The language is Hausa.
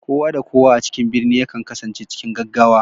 Kowa da kowa a cikin birni yakan kasance cikin gaggawa